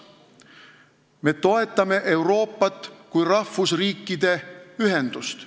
Me toetame Euroopat kui rahvusriikide ühendust.